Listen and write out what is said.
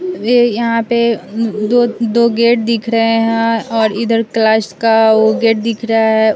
ये यहां पे दो दो गेट दिख रहे हैं और इधर क्लाश का वो गेट दिख रहा है।